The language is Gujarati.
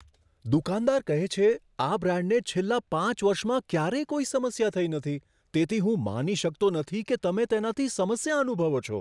દુકાનદાર કહે છે, આ બ્રાન્ડને છેલ્લા પાંચ વર્ષમાં ક્યારેય કોઈ સમસ્યા થઈ નથી, તેથી હું માની શકતો નથી કે તમે તેનાથી સમસ્યા અનુભવો છો.